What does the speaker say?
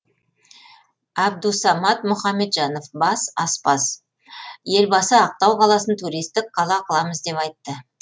әбдусамат мұхамеджанов бас аспаз елбасы ақтау қаласын туристік қала қыламыз деп айтты